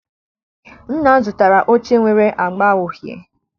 Nna m zụtara oche nwere agba uhie.